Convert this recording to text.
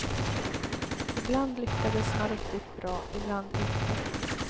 Ibland lyckades man riktigt bra, ibland inte.